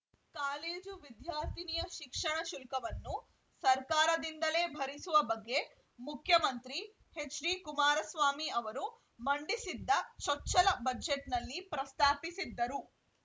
college ವಿದ್ಯಾರ್ಥಿನಿಯ ಶಿಕ್ಷಣ ಶುಲ್ಕವನ್ನು ಸರ್ಕಾರದಿಂದಲೇ ಭರಿಸುವ ಬಗ್ಗೆ ಮುಖ್ಯಮಂತ್ರಿ ಎಚ್‌ಡಿಕುಮಾರಸ್ವಾಮಿ ಅವರು ಮಂಡಿಸಿದ್ದ ಚೊಚ್ಚಲ ಬಜೆಟ್‌ನಲ್ಲಿ ಪ್ರಸ್ತಾಪಿಸಿದ್ದರು